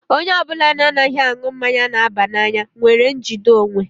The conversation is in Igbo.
Onye ọbụla na-anaghị aṅụ mmanya na-aba n'anya nwere njide onwe.